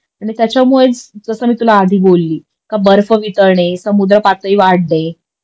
त्याच्यामुळेच जस मी तुला आधी बोलली का बर्फ वितळणे, समुद्र पातळी वाढणे